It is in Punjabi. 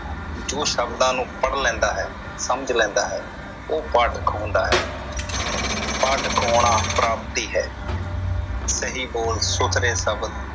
ਜੋ ਸ਼ਬਦਾਂ ਨੂੰ ਪੜ੍ਹ ਲੈਂਦਾ ਹੈ ਸਮਝ ਲੈਂਦਾ ਹੈ ਉਹ ਪਾਠਕ ਅਖਵਾਉਂਦਾ ਹੈ ਪਾਠਕ ਕਹਾਉਣਾ ਪ੍ਰਾਪਤੀ ਹੈ। ਸਹੀ ਬੋਲ ਸੁਥਰੇ ਸ਼ਬਦ